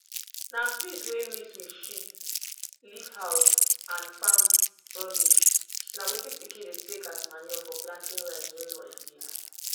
na piss wey mix wit shit leaf house and farm rubbish na wetin pikin dey take as manure for planting rice during holidays